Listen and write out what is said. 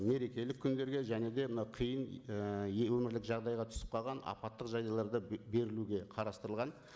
мерекелік күндерге және де мынау қиын ы өмірлік жағдайға түсіп қалған апаттық жағдайларда берілуге қарастырылған